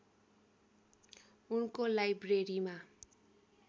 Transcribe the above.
उनको लाइब्रेरीमा